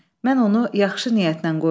Mən onu yaxşı niyyətlə qoyuram.